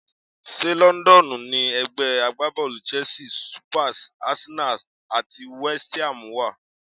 Ṣé Lọ́ńdọ́ọ̀nù ni ẹ̀gbẹ́ agbábọ́ọ̀lù Chelsea, Spurs, Arsenal àti West Ham wà?